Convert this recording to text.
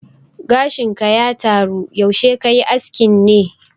Gashin ka ya taro, yaushe kayi askin ne?